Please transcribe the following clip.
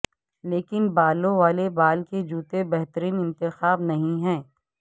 لیکن بالوں والے بال کے جوتے بہترین انتخاب نہیں ہیں